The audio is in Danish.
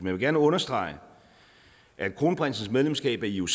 vil gerne understrege at kronprinsens medlemskab af ioc